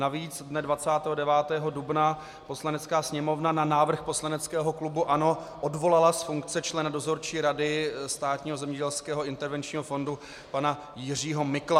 Navíc dne 29. dubna Poslanecká sněmovna na návrh poslaneckého klubu ANO odvolala z funkce člena Dozorčí rady Státního zemědělského intervenčního fondu pana Jiřího Mikla.